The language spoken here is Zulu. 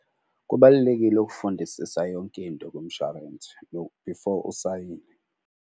Kubalulekile ukufundisisa yonke into kumshwarensi before usayine.